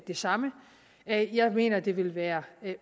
det samme jeg jeg mener at det vil være